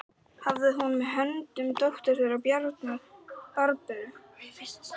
Hafði hún með höndum dóttur þeirra Bjarnar, Barböru.